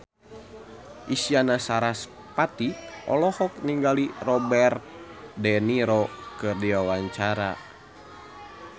Isyana Sarasvati olohok ningali Robert de Niro keur diwawancara